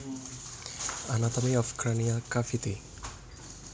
Anatomy of cranial cavity